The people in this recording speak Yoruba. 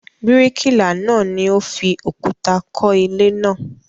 Bíríkìlà náà ni ó fi òkúta kọ́ ilé náà.